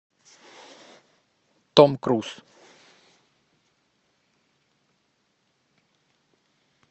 том круз